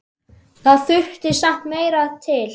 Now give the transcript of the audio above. Það þurfti samt meira til.